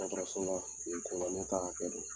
Dɔgɔtɔrɔso la o ye koba ye ne t'a kɛ de